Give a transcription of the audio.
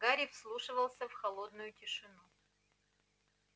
гарри вслушивался в холодную тишину